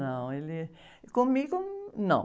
Não, ele... Comigo, não.